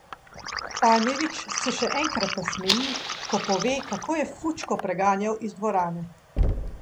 Tanjević se še enkrat nasmeji, ko pove, kako je Fučko preganjal iz dvorane.